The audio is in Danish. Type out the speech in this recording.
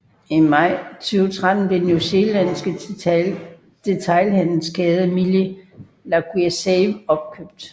I maj 2013 blev den New Zealandske detailhandelskæde Mill Liquorsave opkøbt